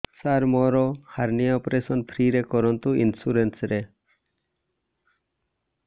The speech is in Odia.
ସାର ମୋର ହାରନିଆ ଅପେରସନ ଫ୍ରି ରେ କରନ୍ତୁ ଇନ୍ସୁରେନ୍ସ ରେ